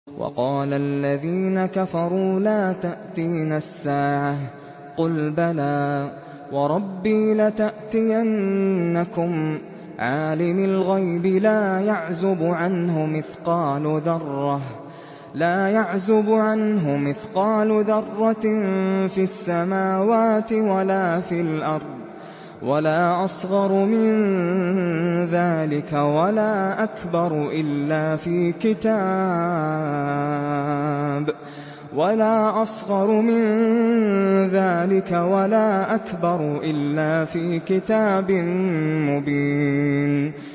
وَقَالَ الَّذِينَ كَفَرُوا لَا تَأْتِينَا السَّاعَةُ ۖ قُلْ بَلَىٰ وَرَبِّي لَتَأْتِيَنَّكُمْ عَالِمِ الْغَيْبِ ۖ لَا يَعْزُبُ عَنْهُ مِثْقَالُ ذَرَّةٍ فِي السَّمَاوَاتِ وَلَا فِي الْأَرْضِ وَلَا أَصْغَرُ مِن ذَٰلِكَ وَلَا أَكْبَرُ إِلَّا فِي كِتَابٍ مُّبِينٍ